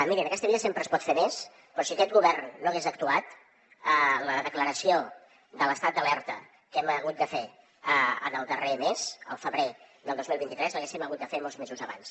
miri en aquesta vida sempre es pot fer més però si aquest govern no hagués actuat la declaració de l’estat d’alerta que hem hagut de fer en el darrer mes al febrer del dos mil vint tres l’haguéssim hagut de fer molts mesos abans